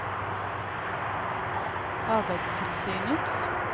arbeidstilsynets